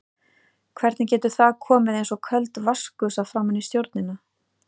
Hvernig getur það komið eins og köld vatnsgusa framan í stjórnina?